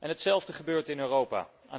Hetzelfde gebeurt in Europa.